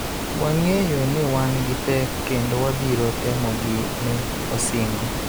Wang�eyo ni wan gi pek kendo wabiro temogi, ne osingo.